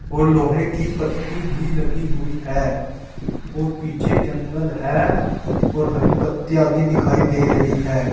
और लोहे की पत्ती भी लगी हुई है और पीछे जंगल है और हरी पत्तियां भी दिखाई दे रही है।